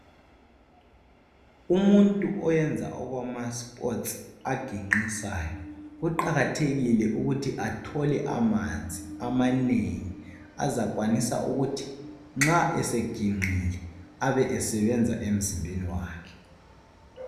Umuntu oyenza okwama sports aginqisayo kuqakathekile ukuthi athole amanzi amanengi azakwanisa ukuthi nxa esenginqile abe esebenza emzimbeni wakhe.